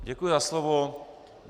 Děkuji za slovo.